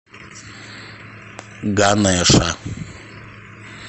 ганеша